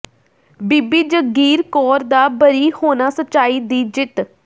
ਬੀਬੀ ਜਗੀਰ ਕੌਰ ਦਾ ਬਰੀ ਹੋਣਾ ਸਚਾਈ ਦੀ ਜਿੱਤ